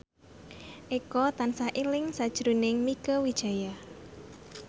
Eko tansah eling sakjroning Mieke Wijaya